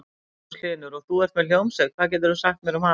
Magnús Hlynur: Og þú ert með hljómsveit, hvað getur þú sagt mér um hana?